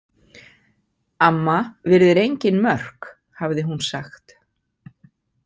Amma virðir engin mörk, hafði hún sagt.